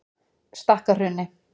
Stakkahrauni